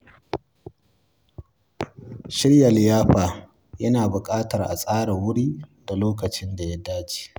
Shirya liyafa yana bukatar a tsara wuri da lokacin da ya dace.